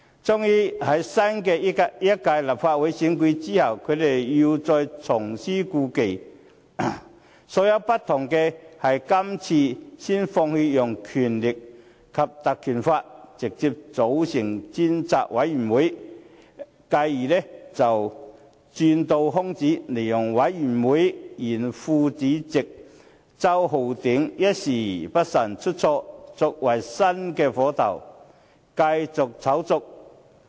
終於，在新一屆立法會選出後，他們又再重施故技，所不同的是這次先放棄使用《條例》，直接便成立專責委員會，繼而再鑽空子，利用專責委員會原副主席周浩鼎議員一時不慎出錯，作為新的火頭，繼續炒作。